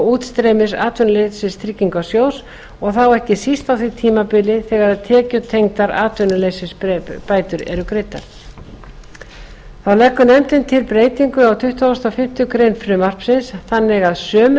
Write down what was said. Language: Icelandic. útstreymis atvinnuleysistryggingasjóðs og þá ekki síst á því tímabili þegar tekjutengdar atvinnuleysisbætur eru greiddar þá leggur nefndin til breytingu á tuttugustu og fimmtu grein frumvarpsins þannig að sömu